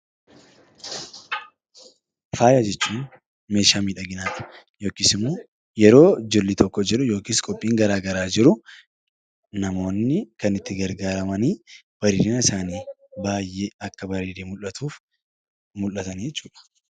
Faaya jechuun meeshaa miidhaginaa yookiis immoo yeroo jilli tokko jiru yookaan qophiin garaagaraa jiru namoonni kan itti gargaaraman bareedina isaanii baayyee akka bareedee mul'atuuf mul'atanii jechuudha.